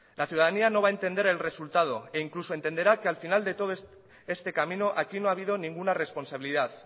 la ciudadanía no va a entender el resultado e incluso entenderá que al final de todo este camino aquí no ha habido ninguna responsabilidad